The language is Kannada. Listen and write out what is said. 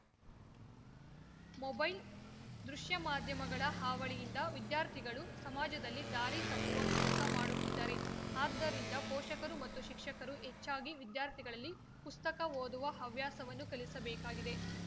ಮೊಬೈಲ್‌ ದೃಶ್ಯಮಾಧ್ಯಮಗಳ ಹಾವಳಿಯಿಂದ ವಿದ್ಯಾರ್ಥಿಗಳು ಸಮಾಜದಲ್ಲಿ ದಾರಿ ತಪ್ಪುವ ಕೆಲಸ ಮಾಡುತ್ತಿದ್ದಾರೆ ಆದ್ದರಿಂದ ಪೋಷಕರು ಮತ್ತು ಶಿಕ್ಷಕರು ಹೆಚ್ಚಾಗಿ ವಿದ್ಯಾರ್ಥಿಗಳಲ್ಲಿ ಪುಸ್ತಕ ಓದುವ ಹವ್ಯಾಸವನ್ನು ಕಲಿಸಬೇಕಾಗಿದೆ